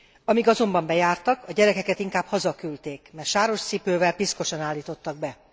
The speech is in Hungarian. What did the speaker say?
Amíg azonban bejártak, a gyerekeket inkább hazaküldték, mert sáros cipővel, piszkosan állítottak be.